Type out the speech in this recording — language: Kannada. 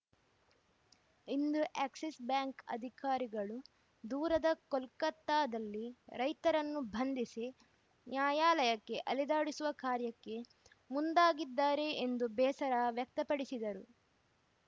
ಇಂದು ಎಕ್ಸಿಸ್‌ ಬ್ಯಾಂಕ್‌ ಅಧಿಕಾರಿಗಳು ದೂರದ ಕೋಲ್ಕತಾದಲ್ಲಿ ರೈತರನ್ನು ಬಂಧಿಸಿ ನ್ಯಾಯಾಲಯಕ್ಕೆ ಅಲೆದಾಡಿಸುವ ಕಾರ್ಯಕ್ಕೆ ಮುಂದಾಗಿದ್ದಾರೆ ಎಂದು ಬೇಸರ ವ್ಯಕ್ತಪಡಿಸಿದರು